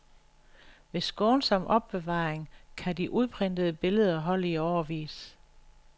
Ved skånsom opbevaring kan de udprintede billeder holde i årevis.